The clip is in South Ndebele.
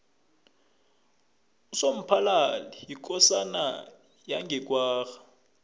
usomphalali yikosana yange kwagga